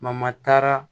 taara